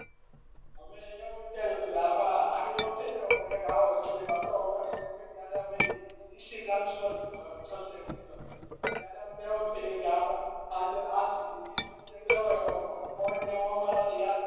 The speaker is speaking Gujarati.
અમે એવું વિચાર્યું તું કે આમાં આગલી વખત એ તો એક આવો સબ્જેક્ટ હતો નીચી બ્રાંચ નો સબ્જેક્ટ લીધો તો ત્યારે અમને એવું થયું કે આમાં આ જ ઈ સબ્જેક્ટ યાદ